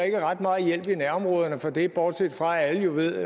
ikke ret meget hjælp i nærområderne for det bortset fra at alle jo ved